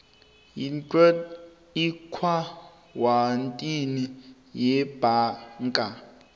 yeuif eakhawuntini yebhanka